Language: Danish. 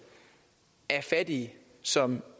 af fattige som